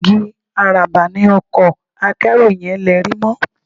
Igi àràbà ni ọkọ akẹ́rù yẹn lerí mọ́